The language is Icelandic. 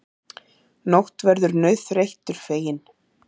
Nótt verður nauðþreyttur feginn.